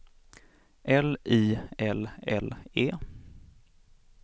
L I L L E